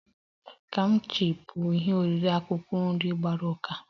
Kimchi bụ ihe oriri akwụkwọ nri gbara ụka